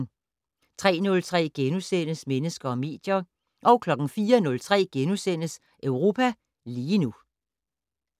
03:03: Mennesker og medier * 04:03: Europa lige nu *